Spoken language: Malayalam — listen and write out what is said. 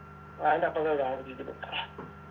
അതിന്റെ അപ്പർത്താ താമസിക്കുന്ന്